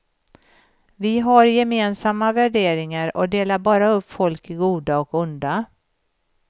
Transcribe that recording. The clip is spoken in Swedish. Vi har gemensamma värderingar, och delar bara upp folk i goda och onda.